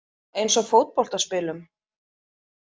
Eins og fótboltaspilum?